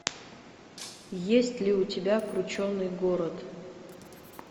есть ли у тебя крученный город